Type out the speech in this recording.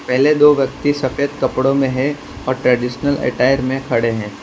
पहले दो व्यक्ति सफेद कपड़ों में हैं और ट्रेडिशनल अटेर में खड़े हैं।